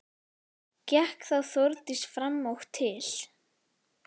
Gekk þá Þórdís fram og til